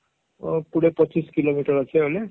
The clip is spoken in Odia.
ପୁରା ପଚିଶ କିଲୋମିଟର ଅଛି ବୋଇଲେ